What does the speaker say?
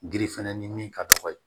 Girifɛnɛ ni min ka dɔgɔ ye